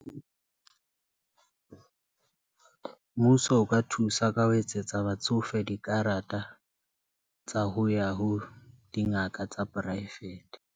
Mmuso o ka thusa ka ho etsetsa batsofe dikarata tsa ho ya ho dingaka tsa poraefete.